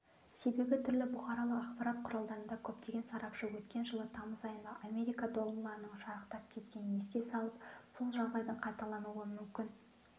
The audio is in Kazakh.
себебі түрлі бұқаралық ақпарат құралдарында көптеген сарапшы өткен жылы тамыз айында америка долларының шарықтап кеткенін еске салып сол жағдайдың қайталануы мүмкін